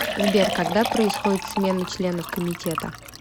сбер когда происходит смена членов комитета